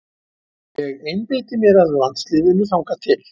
Ég einbeiti mér að landsliðinu þangað til.